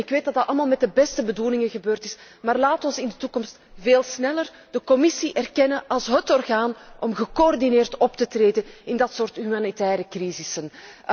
Dat is goed en ik weet dat dat allemaal met de beste bedoelingen gebeurd is, maar laten we in de toekomst veel sneller de Commissie erkennen als hét orgaan om gecoördineerd op te treden in dit soort humanitaire crisissen.